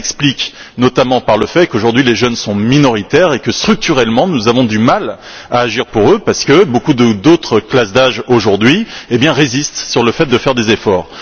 Cela s'explique, notamment, par le fait qu'aujourd'hui les jeunes sont minoritaires et que, structurellement, nous avons du mal à agir pour eux parce que beaucoup d'autres classes d'âge aujourd'hui sont réticentes à faire des efforts.